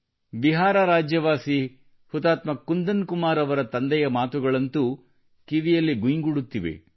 ಬಿಹಾರ ರಾಜ್ಯದ ವಾಸಿ ಹುತಾತ್ಮ ಕುಂದನ್ ಕುಮಾರ್ ಅವರ ತಂದೆಯ ಮಾತುಗಳಂತೂ ಕಿವಿಯಲ್ಲಿ ಗುಯ್ಗುಡುತ್ತಿವೆ